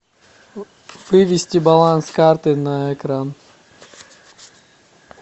вывести баланс карты на экран